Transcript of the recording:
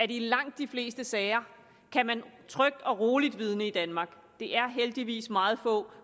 i langt de fleste sager trygt og roligt kan vidne i danmark det er heldigvis meget få